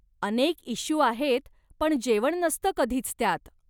अनेक इश्यू आहेत पण जेवण नसतं कधीच त्यात!